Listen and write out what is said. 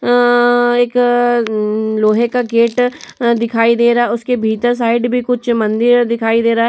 अ- एक अ- उम्म- लोहे का गेट अ- दिखाई दे रहा है। उसके भीतर साइड में कुछ मंदिर है दिखाई दे रहा हैं।